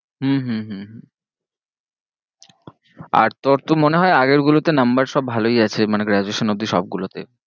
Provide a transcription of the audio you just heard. হম হম হম হম আর তোর তো মনে হয়ে আগের গুলোতে number সব ভালোই আছে মানে graduation অবধি সবগুলোতেই